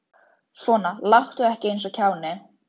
Svona láttu ekki eins og kjáni.